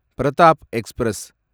Pratap express